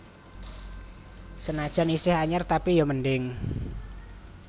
Senajan iseh anyar tapi yo mending